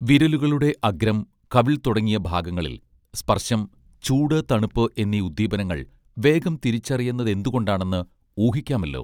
വിരലുകളുടെ അഗ്രം കവിൾ തുടങ്ങിയഭാഗങ്ങളിൽ സ്പർശം ചൂട് തണുപ്പ് എന്നീ ഉദ്ദീപനങ്ങൾ വേഗം തിരിച്ചറിയുന്നതെന്തുകൊണ്ടാണെന്ന് ഊഹിക്കാമല്ലോ